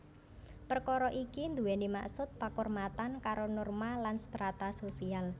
Perkara iki duweni maksud pakurmatan karo norma lan strata sosial